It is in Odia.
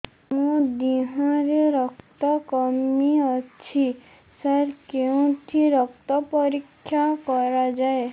ମୋ ଦିହରେ ରକ୍ତ କମି ଅଛି ସାର କେଉଁଠି ରକ୍ତ ପରୀକ୍ଷା କରାଯାଏ